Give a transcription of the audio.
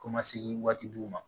Ko ma sekidu ma